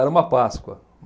Era uma Páscoa.